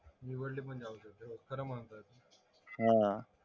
निवडले पण जाऊ शकतात खरं म्हणतात